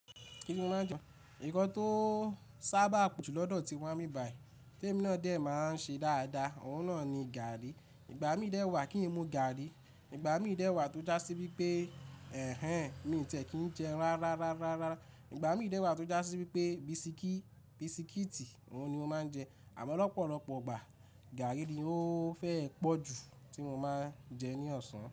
Kíni mo máa jẹ? Ǹkan tó sábàà pọ̀jù lọ́dọ̀ ti wá níbí báyìí. Tí èmi náà dẹ̀ máa ń ṣe dáadáa, òun náà ni gàrrí. Ìgbà mí dẹ̀ wà kí n mu gàrrí. Ìgbà mí dẹ̀ wà tó já sí wípé ẹ̀hẹ̀n mi ò tiẹ̀ kí n jẹun rárá. Ìgbà mí dẹ̀ wà tó já sí wípé bisikíìtì òun ni mo máa ń jẹ. Àmọ́ lọ́pọ̀lọ́pọ̀ ìgbà gàrrí ni ó fẹ́ẹ́ pọ̀jù tí mo máa ń jẹ ní ọ̀sán.